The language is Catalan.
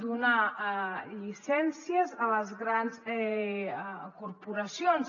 donar llicències a les grans corporacions